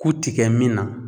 Ku ti kɛ min na